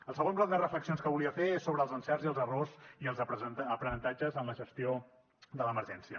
el segon bloc de reflexions que volia fer és sobre els encerts i els errors i els aprenentatges en la gestió de l’emergència